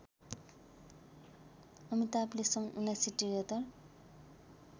अमिताभले सन् १९७३